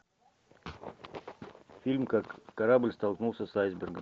фильм как корабль столкнулся с айсбергом